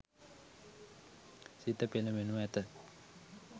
සිත පෙළඹෙනු ඇත.